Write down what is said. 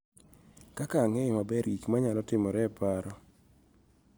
Kaka ang�eyo maber gik ma nyalo timore e paro